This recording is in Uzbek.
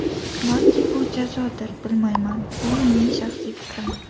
Balki bu jazodir, bilmayman, bu mening shaxsiy fikrim.